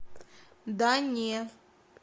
да не